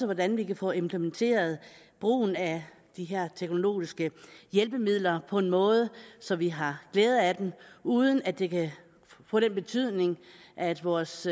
hvordan vi kan få implementeret brugen af de her teknologiske hjælpemidler på en måde så vi har glæde af dem og uden at det får den betydning at vores